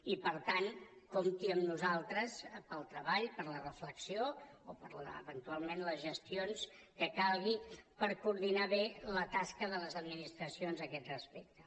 i per tant compti amb nosaltres per al treball per a la reflexió o per a eventualment les gestions que calguin per coordinar bé la tasca de les administracions a aquest respecte